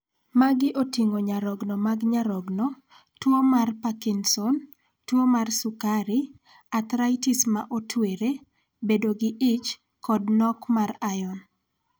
Magi oting'o nyarogno mag nyarogno, tuo mar Parkinson, tuo mar sukari, athritis ma otwere, bedo gi ich, kod nok mar iron.